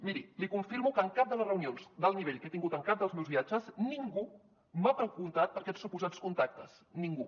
miri li confirmo que en cap de les reunions d’alt nivell que he tingut en cap dels meus viatges ningú m’ha preguntat per aquests suposats contactes ningú